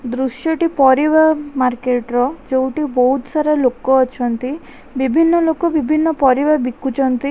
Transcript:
ଦୃଶ୍ୟ ଟି ପରିବା ମାର୍କେଟ ର ଯଉଠି ବହୁତ ସାରା ଲୋକ ଅଛନ୍ତି ବିଭିନ୍ନ ଲୋକ ବିଭିନ୍ନ ପରିବା ବିକୁଛନ୍ତି --